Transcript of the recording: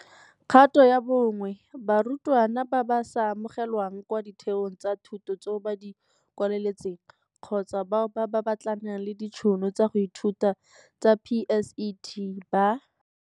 Kgato ya bo 1 - Barutwana ba ba sa amogelwang kwa ditheong tsa thuto tseo ba di kwaletseng, kgotsa bao ba batlanang le ditšhono tsa go ithuta tsa PSET, ba.